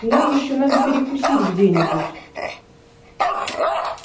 нам ещё надо перекусить где-нибудь